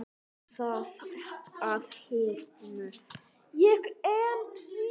En þá að hinu.